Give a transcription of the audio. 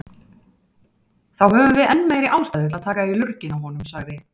Þá höfum við enn meiri ástæðu til að taka í lurginn á honum, sagði